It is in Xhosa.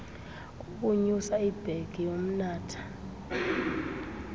kokunyusa ibhegi yomnatha